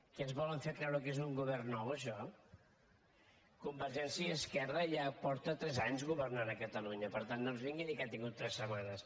que ens volen fer creure que és un govern nou això convergència i esquerra ja fa tres anys que governa a catalunya per tant no ens vingui a dir que ha tingut tres setmanes